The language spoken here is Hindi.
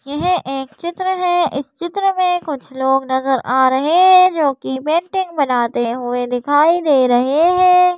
यह एक चित्र है इस चित्र में कुछ लोग नज़र आ रहे हैं जो कि पेंटिंग बनाते हुए दिखाई दे रहे हैं।